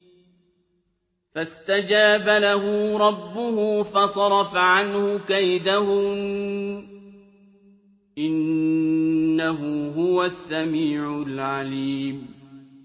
فَاسْتَجَابَ لَهُ رَبُّهُ فَصَرَفَ عَنْهُ كَيْدَهُنَّ ۚ إِنَّهُ هُوَ السَّمِيعُ الْعَلِيمُ